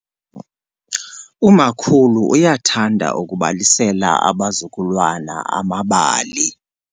Umakhulu uyathanda ukubalisela abazukulwana amabali.